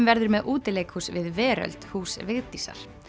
verður með útileikhús við Veröld hús Vigdísar